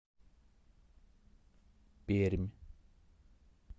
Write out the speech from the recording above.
пермь